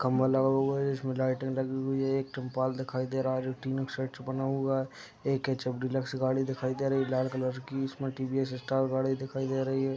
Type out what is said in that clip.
खम्बा लगा हुआ है इसमें लाइटटें लगी हुई हैं। एक टैंपाल दिखाई दे रहा है जो तीनों के साइड से बना हुआ है। एक हेच.एफ. डीलक्स गाड़ी दिखाई दे रही लाल कलर की इसमें टी.वी.एस. स्टार गाड़ी दिखाई दे रही है।